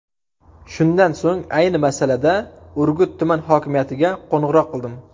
Shundan so‘ng ayni masalada Urgut tuman hokimiyatiga qo‘ng‘iroq qildim.